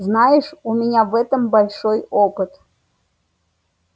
знаешь у меня в этом большой опыт